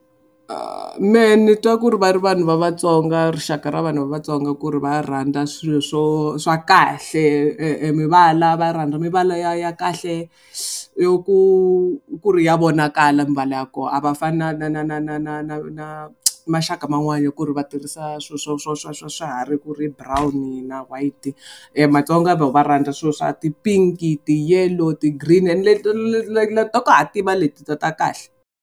Mehe ni twa ku ri va ri vanhu va Vatsonga rixaka ra vanhu va Vatsonga ku ri va rhandza swilo swo swa kahle mivala va rhandza mivala ya ya kahle yo ku ku ri ya vonakala mivala ya koho a va fani na na na na na na na na maxaka man'wana ku ri va tirhisa swilo swa swa swa swa swiharhi ku ri brown-i na white. Matsonga vo va rhandza swilo swa ti-pink, ti-yellow, ti-green ende le ta ku hatima leti ta ta kahle.